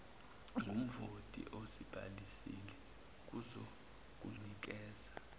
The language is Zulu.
ngumvoti ozibhalisile kuzokunikeza